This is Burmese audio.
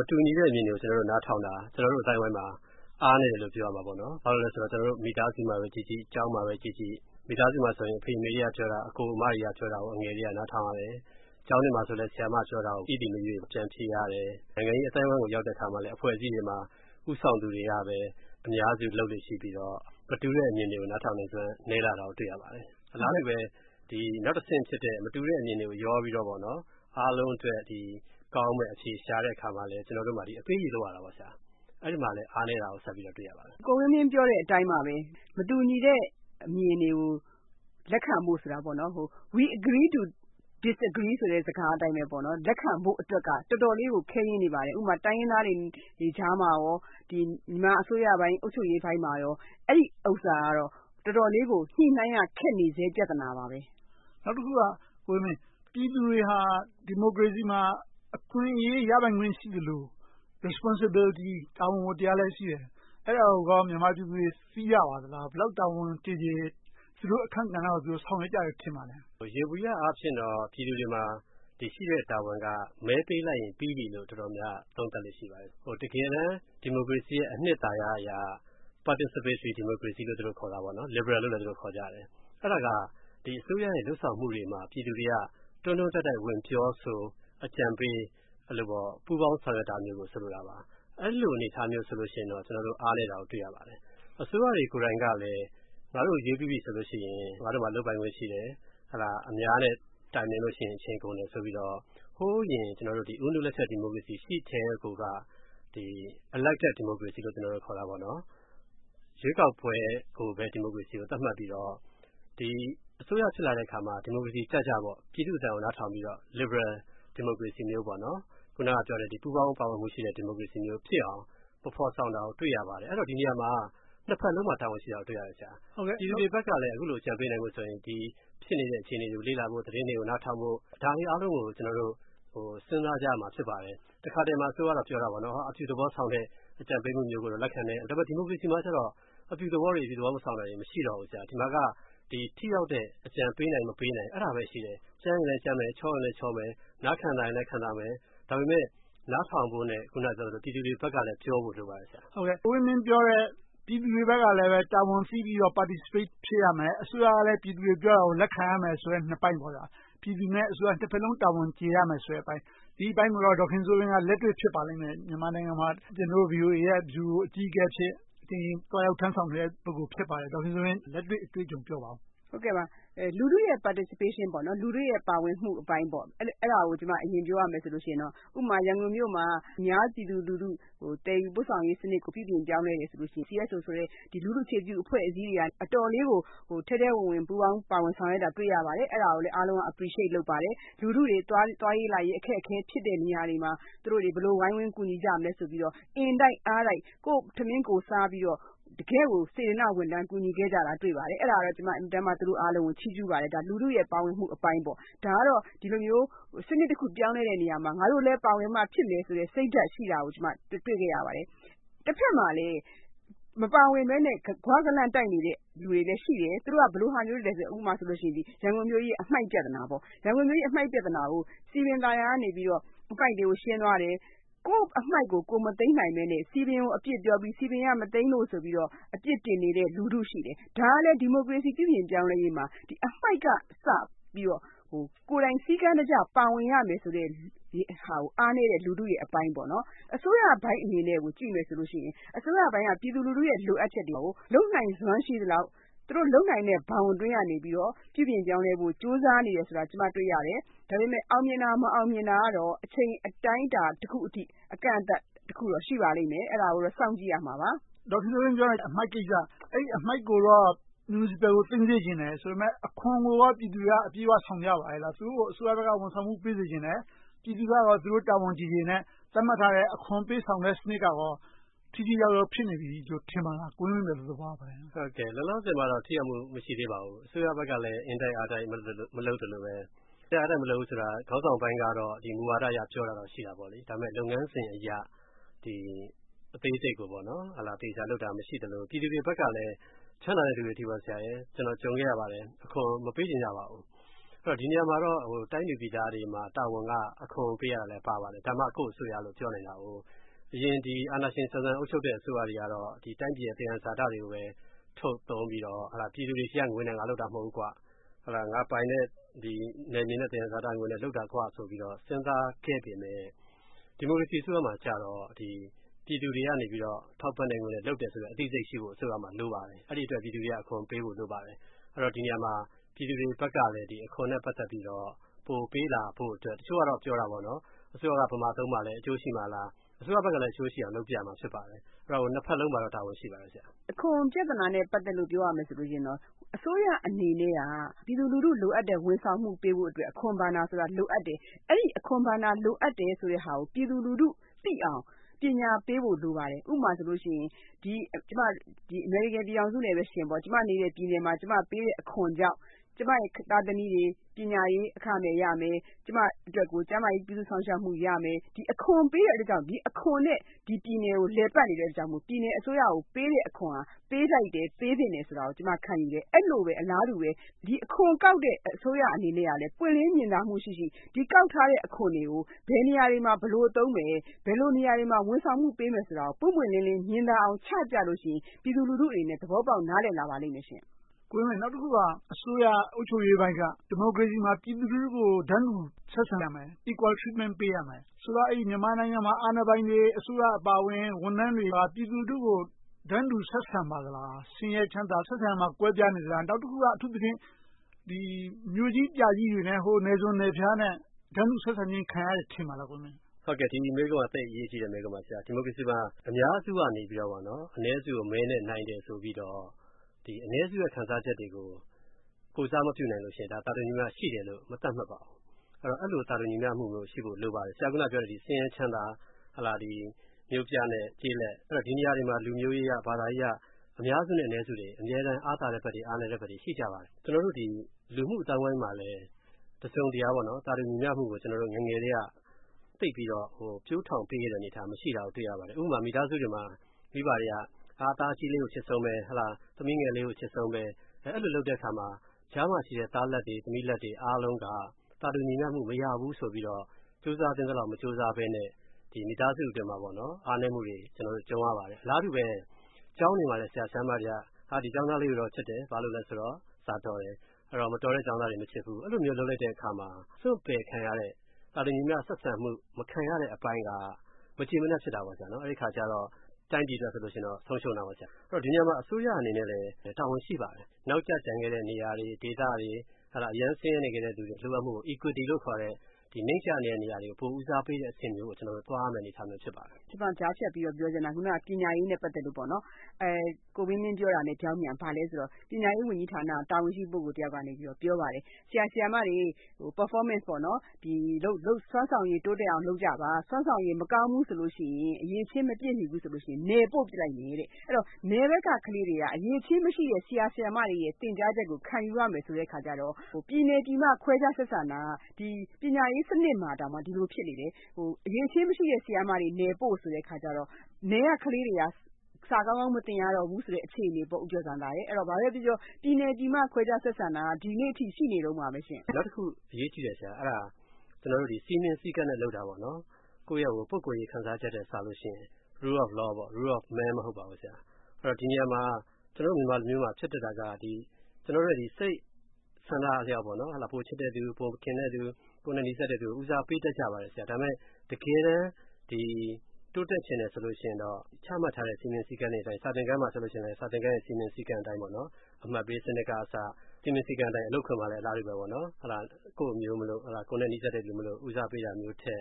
မတူညီနဲ့အမြင်တွေကို ကျနော်တို့ နားထောင်တာ ကျနော်တို့ အသိုင်းအဝိုင်းမှာ အားနည်းတယ်လို့ ပြောရမှာပေါ့။ ဘာဖြစ်လို့လဲဆိုတော့ မိသားစုမှာပဲကြည့်ကြည့်၊ ကျောင်းမှာပဲကြည့်ကြည့် - မိသားစုမှာဆိုရင် အဖေ၊ အမေက ပြောတာ၊ အကို၊ အမတွေက ပြောတာကို အငယ်တွေက နားထောင်ရတယ်။ ကျောင်းတွေမှာဆိုရင်လည်း ဆရာ၊ ဆရာမတွေပြောတာကို ၏၊ သည်မရွေး ပြန်ဖြေရတယ်။ နိုင်ငံရေးအသိုင်းအဝိုင်းကို ရောက်တဲ့အခါမှာလည်း ဦးဆောင်သူတွေကပဲ အများစုလုပ်လေ့ရှိြ့ပီးတော့ မတူတဲ့အမြင်တွေကို နားထောင်တယ်ဆိုတာ နည်းလာတာကို တွေ့ရပါတယ်။ အလားတူပဲ နောက်တဆင့်ဖြစ်တဲ့ မတူတဲ့အမြင်တွေကို ရောပြီးတော့ အားလုံးအတွက်ကောင်းမယ့် အဖြေရှာတဲ့အခါမှာလည်း အပေးအယူ လုပ်ရတာပေါ့။ အဲဒီမှာပဲ အားနည်းတာကို တွေ့ရပါတယ်။ ကိုဝင်းမင်း ပြောတဲ့အတိုင်းပါပဲ မတူညီတဲ့အမြင်တွေကို လက်ခံဖို့ဆိုတာ We agree to disagree စကားအတိုင်းပဲ လက်ခံဖို့အတွက်က တော်တော်လေးကို ခဲယဉ်းနေပါတယ်။ ဥပမာ တိုင်းရင်းသားတွေကြားမှာကော၊ မြန်မာအစိုးရ အုပ်ချုပ်ရေးပိုင်းမှာကော အဲဒီဥစ္စာက တော်တော်လေးကို ညှိနှိုင်းရ ခက်နေသေးတဲ့ ပြဿနာပါ။ နောက်တခုက ပြည်သူတွေဟာ ဒီမိုကရေစီမှာ အခွင့်အရေး ရပိုင်ခွင့်ရှိသလို Responsibility တာဝန်ဝတ္တရားလည်း ရှိတယ်။ အဲဒါကိုကော မြန်မာပြည်သူတွေ သိကြပါသလား။ ဘယ်လောက် တာဝန်ကျေကျေ သူ့တို့အခန်းကဏ္ဍကို သူတို့ဆောင်ရွက်ကြတယ် ထင်ပါလဲ။ ယေဘုယျအားဖြင့်တော့ ပြည်သူတွေမှာ ရှိတဲ့တာဝန်က မဲပေးလိုက်ရင် ပြီးပြီလို့ ပြည်သူတွေက သုံးသပ်လေ့ရှိပါတယ်။ တကယ်တမ်း ဒီမိုကရေစီရဲ့ အနှစ်သာရအရ Participatory Democracy လို သူတို့ခေါ်တယ်။ Liberal လို့လည်း ခေါ်ကြတယ်။ အဲဒါက အစိုးရရဲ့ လုပ်ဆောင်မှုတွေမှာ ပြည်သူတွေက တွန်းတွန်းတိုက်တိုက် ဝင်ပြောဆို အကြံပေး ပူးပေါင်းဆောင်ရွက်တာမျိုးကို ဆိုလိုတာပါ။ အဲဒီလို အနေအထားမျိုးဆိုရင်တော့ ကျနော်တို့ အားနည်းတာကို တွေ့ရပါတယ်။ အစိုးရတွေကိုယ်တိုင်ကလည်း ငါတို့ကို ရွေးပြီးပြီဆိုရင် ငါတို့ လုပ်ပိုင်ခွင့်ရှိတယ်။ အများနဲ့ တိုင်ပင်လို့ရှိရင် အချိန်ကုန်တယ်ဆိုပြီးတော့ ဟိုအရင် ဦးနုလက်ထက် ဒီမိုကရေစီ ရှိကတည်းက Elected Democracy လို့ ခေါ်တာပေါ့ ရွေးကောက်ပွဲကိုပဲ ဒီမိုကရေစီလို့ သတ်မှတ်ပြီးတော့ အစိုးရဖြစ်လာတဲ့အခါမှာ ဒီမိုကရေစီကျကျ ပြည်သူ့အသံကို နားထောင်ပြီးတော့ Liberal Democracy မျိုး၊ ပူးပေါင်းပါဝင်မှုရှိတဲ့ ဒီမိုကရေစီမျိုးဖြစ်အောင် မဖော်ဆောင်တာကို တွေ့ရပါတယ်။ ဒီနေရာမှာ နှစ်ဘက်စလုံးမှာ တာဝန်ရှိတာကို တွေ့ရတယ်။ ပြည်သူတွေဘက်ကလည်း အခုလို အကြံပေးနိုင်ဖို့ဆိုရင် ဖြစ်နေတဲ့ အခြေအနေတွေကို လေ့လာဖို့၊ သတင်းတွေကို နားထောင်ဖို့ ဒါတွေအားလုံးကို ကျနော်တို့ စဉ်းစားကြရမှာ ဖြစ်ပါတယ်။ တခါတရံမှာ အစိုးရကတော့ ပြောတာပေါ့ အပြုသဘောဆောင်တဲ့ အကြံပေးမှုမျိုးကို လက်ခံတယ်။ ဒါပေမဲ့ ဒီမိုကရေစီမှာကြတော့ အပြုသဘောတွေ မရှိတော့ ဒီမှာက ထိရောက်တဲ့ အကြံပေးနိုင် မပေးနိုင်ဘဲ ရှိတယ်။ အဲဒါပဲရှိတယ်။ ကြမ်းရင်လဲကြမ်းမယ်။ ချောရင်လဲချောမယ်။ နားခံသာရင်လဲ ခံသာမယ်။ ဒါပေမဲ့ နားထောင်ဖို့နဲ့ ပြည်သူတွေဘက်ကလည်း ပြောဖို့လိုပါတယ်။ ကိုဝင်းမင်းပြောတဲ့ ပြည်သူတွေဘက်ကလည်း တာဝန်သိပြီးတော့ Participate ဖြစ်ရမယ်။ အစိုးရကလည်း ပြည်သူတွေပြောတာကို လက်ခံရမယ်ဆိုတဲ့ နှစ်ပိုင်းပေါ့။ ပြည်သူနဲ့ အစိုးရ နှစ်ဘက်စလုံး တာဝန်ကျေရမယ်ဆိုတဲ့အပိုင်း။ ဒီအပိုင်းကိုတော့ ဒေါ်ခင်စိုးဝင်း က လက်တွေ့ဖြစ်ပါလိမ့်မယ်။ မြန်မာနိုင်ငံမှာ ကျနော်တို့ VOA က ဗျူရိုအကြီးအကဲအဖြစ် တာဝန်ထမ်းဆောင်ခဲ့တဲ့ ပုဂ္ဂိုလ်ဖြစ်ပါတယ်။ ဒေါ်ခင်စိုးဝင်းရဲ့ လက်တွေ့အတွေ့အကြုံကို ပြောပါအုံး။ လူထုရဲ့ ပါဝင်မှုအပိုင်းကို အရင်ပြောရမယ်ဆိုရင် ဥပမာ ရန်ကုန်မြို့မှာ အများပြည်သူလူထု သယ်ယူပို့ဆောင်ရေးစနစ်ကို ပြုပြင်ပြောင်းလဲတယ်ဆိုလို့ရှိရင် CSO ဆိုတဲ့ လူထုအခြေပြု အဖွဲ့အစည်းတွေက အတော်လေးကို ထဲထဲဝင်ဝင် ပူးပေါင်းပါဝင်ဆောင်ရွက်တာကို တွေ့ရပါတယ်။ အဲဒါကိုလဲ အားလုံးက Appreciate လုပ်ပါတယ်။ လူထုတွေ သွားရေးလာရေး အခက်အခဲဖြစ်တဲ့ နေရာတွေမှာ သူတို့တွေ ဘယ်လို ဝိုင်းဝန်းကူညီကြမလဲဆိုပြီးတော့ အင်တိုက်အားတိုက် ကိုယ့်ထမင်းကိုယ်စားပြီးတော့ တကယ့်ကို စေတနာဝန်ထမ်း ကူညီခဲ့ကြတာကို တွေ့ရပါတယ်။ အဲဒါကိုတော့ ကျမ အင်မတန်ကိုမှ ချီးကျူးပါတယ်။ ဒါ လူထုရဲ့ ပါဝင်မှုအပိုင်းပေါ့။ ဒါကတော့ ဒီလိုမျိုး စနစ်တခု ပြောင်းလဲတဲ့နေရာမှာ ငါတို့လည်း ပါဝင်မှဖြစ်မယ်ဆိုတဲ့ စိတ်ဓါတ်ရှိတာကို တွေ့ခဲ့ရပါတယ်။ တဘက်မှာလဲ မပါဝင်ဘဲနဲ့ ဂွကန့်လန့်တိုက်နေတဲ့ လူတွေလည်းရှိတယ်။ သူတို့က ဘယ်လိုဟာမျိုးတွေလည်းဆိုရင် ရန်ကုန်မြို့ကြီးရဲ့ အမှိုက်ပြဿနာ။ ရန်ကုန်မြို့ကြီးရဲ့ အမှိုက်ပြဿနာကို စည်ပင်သာယာကနေ အမှိုက်တွေကိုရှင်းသွားတယ်။ ကိုယ့်အမှိုက်ကို ကိုယ်မသိမ်းနိုင်ဘဲနဲ့ စည်ပင်ကို အပြစ်ပြောပြီး၊ စည်ပင်က မသိမ်းလို့ဆိုပြီးတော့ အပြစ်တင်တဲ့ လူထုရှိတယ်။ ဒါကလဲ ဒီမိုကရေစီ ပြုပြင်ပြောင်းလဲရေးမှာ အမှိုက်ကစပြီးတော့ ကိုယ်တိုင်စည်းကမ်းတကျ ပါဝင်ရမယ်ဆိုတာကို အားနည်းတယ်ဆိုတဲ့ လူထုရဲ့အပိုင်း။ အစိုးရပိုင်းအနေနဲ့ကို ကြည့်မယ်ဆိုရင်လည်း အစိုးရပိုင်းက ပြည်သူလူထုရဲ့ လိုအပ်ချက်တွေကို လုပ်နိုင်စွမ်းရှိသလောက် သူတို့ လုပ်နိုင်တဲ့ ဘောင်အတွင်းကနေ ပြုပြင်ပြောင်းလဲဖို့ ကြိုးစားနေတယ်ဆိုတာ ကျမ တွေ့ရတယ်။ ဒါပေမဲ့ အောင်မြင်တာ မအောင်မြင်တာကတော့ အချိန်အတိုင်းအတာတခုအထိ အကန့်အသတ်တခုတော့ ရှိပါလိမ့်မယ်။ အဲဒါကိုတော့ စောင့်ကြည့်ရမှာပါ။ ဒေါ်ခင်စိုးဝင်းပြောတဲ့ အမှိုက်ကိစ္စ။ အဲဒီအမှိုက်ကိုတော့ မြူနီစပယ်ကို သိမ်းစေချင်တယ်ဆိုပေမယ့်လဲ အခွန်ကိုတော့ ပြည်သူတွေက အပြည့်အဝ ဆောင်ကြပါရဲ့လား။ သူတို့ကို အစိုးရဘက်က ဝန်ဆောင်မှု ပေးစေချင်တယ်။ ပြည်သူကရော တာဝန်ကျေကျေနဲ့ သတ်မှတ်ထားတဲ့ အခွန်ပေးဆောင်တဲ့ စနစ်ကရော ထိထိရောက်ရောက် ဖြစ်နေပြီလို့ ထင်ပါလား။ ကိုဝင်းမင်း ဘယ်လို သဘောရပါလဲ။ လောလောဆယ်တော့ ထိရောက်မှု မရှိသေးပါဘူး။ အစိုးရဘက်ကလည်း အင်တိုက်အားတိုက် မလုပ်သလိုဘဲ။ အင်တိုက်အားတိုက် မလုပ်ဘူးဆိုတာ ခေါင်းဆောင်ပိုင်းက မူဝါဒအရ ပြောတာတော့ ရှိတာပေါ့။ ဒါပေမဲ့ လုပ်ငန်းစဉ်အရ အသေးစိတ်ကို အသေအချာလုပ်တာ မရှိသလို ပြည်သူတွေဘက်ကလည်း ချမ်းသာတဲ့လူတွေက ကျနော် ကြုံခဲ့ရပါတယ် အခွန်မပေးချင်ကြပါဘူး။ ဒီနေရာမှာတော့ တိုင်းသူပြည်သားတွေမှာ တာဝန်က အခွန်ပေးရတာလည်းပါပါတယ်။ ဒါမှ ကိုယ့်အစိုးရလို့ ပြောနိုင်တယ်။ အရင် အာဏာရှင်ဆန်ဆန် အုပ်ချုပ်တဲ့ အစိုးရတွေကတော့ တိုင်းပြည်ရဲ့ သယံဇာတတွေကိုပဲ ထုတ်သုံးပြီးတော့ ပြည်သူတွေဆီကငွေနဲ့ ငါလုပ်တာ မဟုတ်ဘူးကွ။ ငါပိုင်တဲ့ နယ်မြေနဲ့ သယံဇာတငွေနဲ့ လုပ်တာကွဆိုပြီး စဉ်းစားခဲ့ပေမယ့် ဒီမိုကရေစီအစိုးရမှာကြတော့ ပြည်သူတွေက ထောက်ပံ့တဲ့ငွေနဲ့ လုပ်တယ်ဆိုတဲ့ အသိစိတ်ရှိဖို့ အစိုးရမှာ လိုပါတယ်။ အဲဒီအတွက် ပြည်သူတွေက အခွန်ပေးဖို့ လိုပါတယ်။ အဲဒီတော့ ဒီနေရာမှာ ပြည်သူတွေဘက်ကလည်း အခွန်နဲ့ ပတ်သက်ပြီး ပို့ပေးလာဖို့အတွက် - တချို့ကတော့ ပြောတာပေါ့ အစိုးရက ဘယ်မှာသုံးမှာလဲ။ အကျိုးရှိမှာလား။ အစိုးရဘက်ကလည်း အကျိုးရှိအောင် လုပ်ပြရမှာ ဖြစ်ပါတယ်။ နှစ်ဘက်စလုံးမှာတော့ တာဝန်ရှိပါတယ်။ အခွန်ုပြဿနာနဲ့ ပတ်သက်လို့ ပြောရရင် အစိုးရအနေနဲ့ ပြည်သူလူထု လိုအပ်တဲ့ ဝန်ဆောင်မှုပေးဖို့အတွက် အခွန်ဘဏ္ဍာဆိုတာ လိုအပ်တယ်။ အဲဒီ အခွန်ဘဏ္ဍာ လိုအပ်တယ်ဆိုတာကို ပြည်သူလူထုသိအောင် ပညာပေးဖို့ လိုပါတယ်။ ဥပမာဆိုရင် အမေရိကန်ပြည်ထောင်စုနဲ့ပဲ ယှဉ်ပေါ့။ ကျမနေတဲ့ ပြည်နယ်မှာ ကျမပေးတဲ့ အခွန်ကြောင့် ကျမရဲ့ သားသမီးတွေ ပညာရေးအခမဲ့ရမယ်။ ကျမအတွက်ကို ကျန်းမာရေး ပြုစုစောင့်ရှောက်မှုရမယ်။ ဒီအခွန်ပေးရတဲ့အတွက်ကြောင့် အခွန်နဲ့ ဒီပြည်နယ်ကို လည်ပတ်နေတဲ့အတွက်ကြောင့် ပြည်နယ်အစိုးရကို ပေးတဲ့အခွန်ဟာ ပေးထိုက်တယ်၊ ပေးသင့်တယ်ဆိုတာကို ကျမ ခံယူတယ်။ အဲဒီလိုပဲ အလားတူပဲ အခွန်ကောက်တဲ့ အစိုးရအနေနဲ့ ပွင့်လင်းမြင်သာမှုရှိရှိ။ ကောက်ထားတဲ့အခွန်တွေကို ဘယ်နေရာတွေမှာ ဘယ်လိုသုံးမယ်။ ဘယ်လိုနေရာတွေမှာ ဝန်ဆောင်မှုပေးမယ်ဆိုတာကို ပွင့်ပွင့်လင်းလင်း မြင်သာအောင် ချပြလို့ရှိရင် ပြည်သူလူထုအနေနဲ့ သဘောပေါက် နားလည်လာပါလိမ့်မယ်ရှင့်။ ကိုဝင်းမင်း နောက်တခုက အစိုးရအုပ်ချုပ်ရေးပိုင်းက ဒီမိုကရေစီမှာ ပြည်သူလူထုကို တန်းတူဆက်ဆံရမယ်။ Equal treatment ပေးရမယ်။ ဆိုတော့ မြန်မာနိုင်ငံမှာ အာဏာပိုင်တွေ၊ အစိုးရဝန်ထမ်းတွေက ပြည်သူလူထုကို တန်းတူဆက်ဆံပါလား။ ဆင်းရဲချမ်းသာ ဆက်ဆံတာ ကွဲပြားနေသလား။ နောက်တခုက အထူးသဖြင့် မြို့ကြီးပြကြီးတွေနဲ့ နယ်စွန်းနယ်ဖျားနဲ့ တန်းတူဆက်ဆံခြင်း ခံရတယ် ထင်ပါလား။ ဒီမေးခွန်းက သိပ်အရေးကြီးတဲ့ မေးခွန်းပါ။ ဒီမိုကရေစီမှာ အများစုကနေ အနည်းစုကို မဲနဲ့နိုင်တယ်ဆိုပြီးတော့ အနည်းစုရဲ့ ခံစားချက်တွေကို ကိုယ်စားမပြုနိုင်ရင် သာတူညီမျှရှိတယ်လို့ မသတ်မှတ်ပါဘူး။ အဲဒီလို သာတူညီမျှမှုမျိုး ရှိဖို့ လိုပါတယ်။ ဆင်းရဲချမ်းသာ၊ မြို့ပြနဲ့ကျေးလက် ဒီနေရာတွေမှာ လူမျိုးရေးအရ၊ ဘာသာရေးအရ အများစုနဲ့ အနည်းစုတွေ အမြဲတမ်း အားသာတဲ့ဘက်တွေ၊ အားနည်းတဲ့ဘက်တွေ ရှိကြပါတယ်။ ကျနော်တို့ လူမှု့အသိုင်းအဝိုင်းမှာလည်း တစုံတရာ သာတူညီမျှမှုကို ကျနော်တို့ ငယ်ငယ်ကတည်းက သိပ်ပြီးတော့ ပျိုထောင်ပေးခဲ့တာ မရှိတာကို တွေ့ရပါတယ်။ ဥပမာ မိသားစုတွေမှာ မိသားစုတွေက သားအကြီးလေးကို အချစ်ဆုံးပဲ။ သမီးငယ်လေးကို အချစ်ဆုံးပဲ။ အဲဒီလို လုပ်တဲ့အခါမှာ ကြားမှာရှိတဲ့ သားလတ်တွေ၊ သမီးလတ်တွေ အားလုံးက သာတူညီမျှမှု မရဘူးဆိုပြီးတော့ ကြိုးစားသင့်သလောက် မကြိုးစားဘဲနဲ့ မိသားစုအတွင်းမှာ အားနည်းမှုမျိုးတွေ ကြုံရပါတယ်။ အလားတူပဲ ကျောင်းတွေမှာလည်း ဆရာ၊ ဆရာမတွေက ဒီကျောင်းသားလေးတွေကိုတော့ ချစ်တယ်။ ဘာဖြစ်လို့လဲဆိုတော့ စာတော်တယ်။ မတော်တဲ့ ကျောင်းသားတွေကို မချစ်ဘူး။ အဲဒီလို လုပ်လိုက်တဲ့အခါမှာ စွန့်ပယ်ခံရတဲ့ သာတူညီမျှ ဆက်ဆံမှု ခံရတဲ့အပိုင်းက မကျေမနပ် ဖြစ်တာပေါ့။ အဲဒီအခါကြတော့ တိုင်းပြည်အတွက် ဆုံးရှုံးတာပေါ့။ ဒီနေရာမှာ အစိုးရအနေနဲ့လည်း တာဝန်ရှိပါတယ်။ နောက်ကျကျန်ခဲ့တဲ့ နေရာတွေ၊ ဒေသတွေ၊ အရမ်းဆင်းရဲနေတဲ့ လူတွေရဲ့ လိုအပ်မှုကို Equity လို့ခေါ်တဲ့ နိမ့်ကျနေတဲ့နေရာတွေကို ပိုပြီး ဦးစားပေးတဲ့အဆင့်မျိုးကို ကျနော်တို့ သွားရမယ့် အနေအထားမျိုး ဖြစ်ပါတယ်။ ကျမ ကြားဖြတ်ပြီးတော့ ပြောချင်တာ ပညာရေးနဲ့ ပတ်သက်လို့ပေါ့။ ကိုဝင်းမင်း ပြောတာနဲ့ ပြောင်းပြန် ဘာလဲဆိုတော့ ပညာရေးဝန်ကြီးဌာနက တာဝန်ရှိ ပုဂ္ဂိုလ်တယောက်ကနေ ပြောပါတယ်။ ဆရာ၊ ဆရာမတွေ Performance စွမ်းဆောင်ရည် တိုးတက်အောင် လုပ်ကြပါ။ စွမ်းဆောင်ရည် မကောင်းဘူးဆိုလို့ရှိရင် အရည်အချင်း မပြည့်မီဘူးဆိုရင် နယ်ပို့ပြစ်လိုက်မယ်တဲ့။ အဲဒီတော့ နယ်ဘက်က ကလေးတွေက အရည်အချင်းမရှိတဲ့ ဆရာ၊ ဆရာမတွေရဲ့ သင်ကြားချက်ကို ခံယူရမယ်ဆိုတော့ ပြည်နယ်ပြည်မ ခွဲခြားဆက်ဆံတာ ပညာရေးစနစ်မှာတောင် ဒီလိုဖြစ်နေတယ်။ အရည်အချင်းမရှိတဲ့ ဆရာ၊ ဆရာမတွေ နယ်ပို့ဆိုတဲ့အခါကြတော့ နယ်ကကလေးတွေက စာကောင်းကောင်း မသင်ရတော့ဘူးဆိုတဲ့ အခြေအနေပေါ့။ ဘာပဲဖြစ်ဖြစ် ပြည်နယ်ပြည်မ ခွဲခြားဆက်ဆံတာ ဒီနေ့အထိ ရှိနေတုန်းပါပဲရှင့်။ နောက်တခု အရေးကြီးတာက စည်းမျဉ်းစည်းကမ်းနဲ့ လုပ်တာပါ။ ကိုယ့်ရဲ့ ပုဂ္ဂိုလ်ရေး ခံစားချက်ထက်စာရင် Rule of Law, Rule of Man မဟုတ်ပါဘူး။ ဒီနေရာမှာ ကျနော်တို့ မြန်မာလူမျိုးမှာ ဖြစ်တတ်တာက ကျနော်တို့ရဲ့ စိတ်ဆန္ဒအလျောက် ပိုချစ်တဲ့လူ၊ ပိုခင်တဲ့လူ ကိုယ်နဲ့နီးစပ်တဲ့လူကို ဦးစားပေးတတ်ကြပါတယ်။ ဒါပေမဲ့ တကယ်တမ်း တိုးတက်ချင်တယ် ဆိုလို့ရှိရင်တော့ ချမှတ်ထားတဲ့ စည်းမျဉ်းစည်းကမ်းတွေအတိုင်း စာသင်ခန်းမှာဆိုရင်လဲ စာသင်ခန်း စည်းမျဉ်းစည်းကမ်းအတိုင်း အမှတ်ပေးစနစ်ကအစ စည်းမျဉ်းစည်းကမ်းအတိုင်း။ အလုပ်ခွင်မှာလဲ အလားတူအတိုင်း ကိုယ့်အမျိုးမို့၊ ကိုယ်နဲ့နီးစပ်တဲ့လူမို့ ဦးစားပေးတာမျိုးထက်